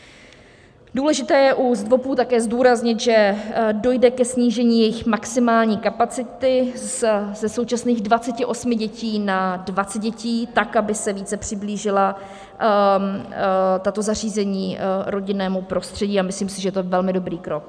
Důležité je u ZDVOPů také zdůraznit, že dojde ke snížení jejich maximální kapacity ze současných 28 dětí na 20 dětí tak, aby se více přiblížila tato zařízení rodinnému prostředí, a myslím si, že to je velmi dobrý krok.